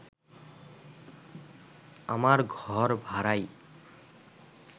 আমার ঘর ভাড়াই